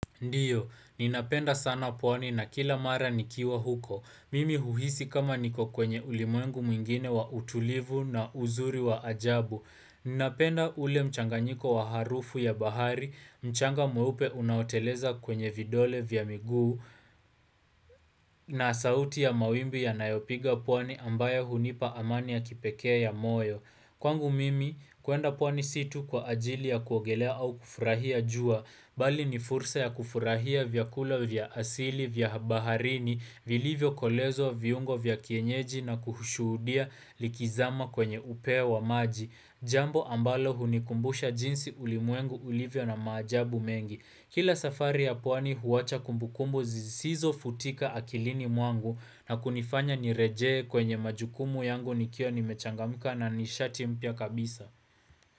Ndiyo, ninapenda sana pwani na kila mara nikiwa huko. Mimi huhisi kama niko kwenye ulimwengu mwingine wa utulivu na uzuri wa ajabu. Ninapenda ule mchanganyiko wa harufu ya bahari, mchanga mweupe unaoteleza kwenye vidole vya miguu na sauti ya mawimbi yanayopiga pwani ambayo hunipa amani ya kipekee ya moyo. Kwangu mimi kuenda pwani si tu kwa ajili ya kuogelea au kufurahia jua, bali ni fursa ya kufurahia vyakula vya asili vya baharini, vilivyokolezwa viungo vya kienyeji na kushuhudia likizama kwenye upea wa maji. Jambo ambalo hunikumbusha jinsi ulimwengu ulivyo na majabu mengi. Kila safari ya pwani huwacha kumbukumbu zisizo futika akilini mwangu na kunifanya nirejee kwenye majukumu yangu nikiwa nimechangamka na nishati mpya kabisa.